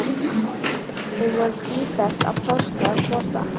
Þau voru sífellt að plástra hvort annað.